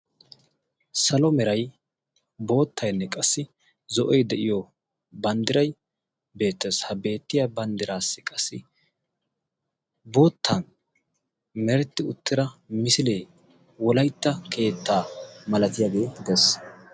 Salo meray boottaynne qassi zo'oy de'iyo banddiray beettees. ha beettiya banddiraassi qassi boottan meretti uttira misilee wolaytta keettaa malatiyaagee dees.